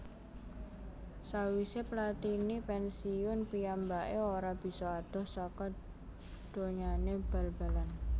Sawisé Platini pènsiun piyambaké ora bisa adoh saka donyané bal balan